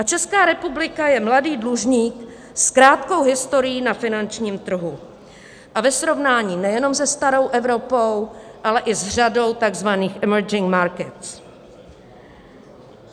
A Česká republika je mladý dlužník s krátkou historií na finančním trhu a ve srovnání nejenom se starou Evropou, ale i s řadou tzv. emerging markets.